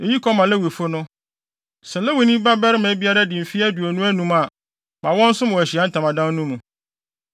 “Eyi kɔ ma Lewifo no: Sɛ Lewini barima biara di mfe aduonu anum a, ma no nsom wɔ Ahyiae Ntamadan mu,